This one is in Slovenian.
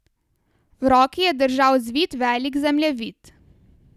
V roki je držal zvit velik zemljevid.